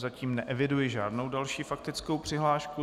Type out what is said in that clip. Zatím neeviduji žádnou další faktickou přihlášku.